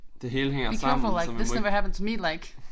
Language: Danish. Det hele hænger sammen så man må ikke